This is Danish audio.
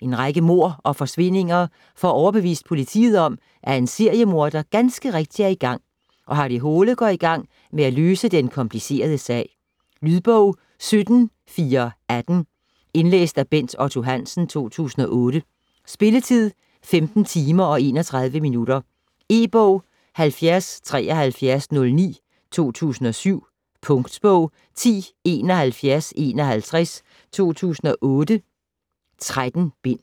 En række mord og forsvindinger får overbevist politiet om, at en seriemorder ganske rigtigt er i gang, og Harry Hole går i gang med at løse den komplicerede sag. Lydbog 17418 Indlæst af Bent Otto Hansen, 2008. Spilletid: 15 timer, 31 minutter. E-bog 707309 2007. Punktbog 107151 2008. 13 bind.